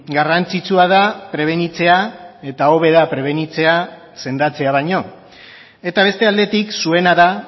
garrantzitsua da prebenitzea eta hobe da prebenitzea sendatzea baino eta beste aldetik zuena da